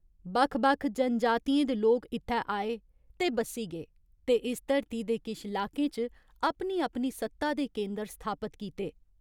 बक्ख बक्ख जनजातियें दे लोक इत्थै आए ते बस्सी गे ते इस धरती दे किश लाकें च अपनी अपनी सत्ता दे केंदर स्थापत कीते।